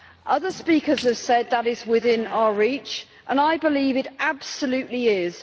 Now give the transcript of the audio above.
Other speakers have said that this is within our reach, and I believe it absolutely is.